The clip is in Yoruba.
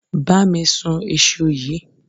Bá mi sún ìṣù yí.